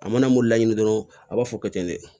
A mana mo laɲini dɔrɔn a b'a fɔ kɛ ten ne